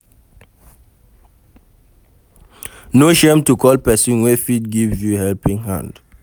No shame to call person wey fit give you helping hand